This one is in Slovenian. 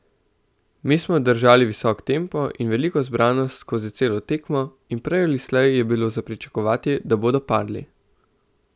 Mi smo držali visok tempo in veliko zbranost skozi celo tekmo in prej ali slej je bilo za pričakovati, da bodo padli.